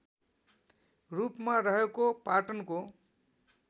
रूपमा रहेको पाटनको